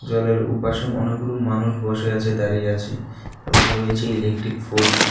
জলের উপাশে অনেক গুলো মানুষ বসে আছে দাঁড়িয়ে আছে এবং রয়েছে ইলেকট্রিক পোস্ট ।